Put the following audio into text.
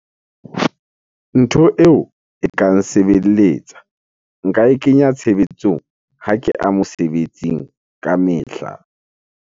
Ntho eo e ka nsebelletsa. Nka e kenya tshebetsong ha ke a mosebetsing ka mehla.